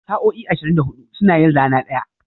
Sa'o'i ashirin da hudu suna yin rana ɗaya.